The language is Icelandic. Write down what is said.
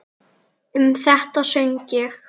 Um þetta söng ég: